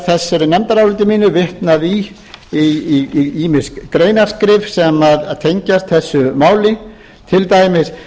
þessu nefndaráliti mínu vitnað í ýmis greinaskrif sem tengjast þessu máli til dæmis